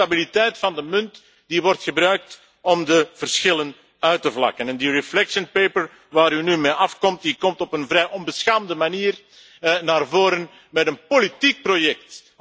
Het is die instabiliteit van de munt die wordt gebruikt om de verschillen uit te vlakken en in die discussienota waar u nu mee aankomt, komt u op een vrij onbeschaamde manier naar voren met een politiek project.